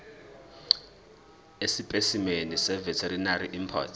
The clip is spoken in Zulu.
esipesimeni seveterinary import